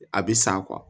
A bɛ san